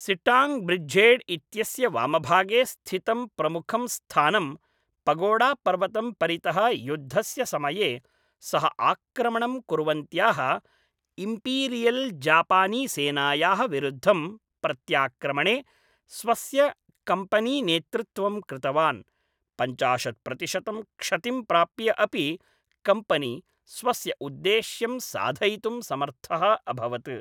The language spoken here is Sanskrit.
सिट्टाङ्ग् ब्रिड्झेड् इत्यस्य वामभागे स्थितं प्रमुखं स्थानं पगोडापर्वतं परितः युद्धस्य समये, सः आक्रमणं कुर्वन्त्याः इम्पीरियल्जापानीसेनायाः विरुद्धं प्रत्याक्रमणे स्वस्य कम्पनीनेतृत्वं कृतवान्, पञ्चाशत् प्रतिशतं क्षतिं प्राप्य अपि कम्पनी स्वस्य उद्देश्यं साधयितुं समर्थः अभवत्।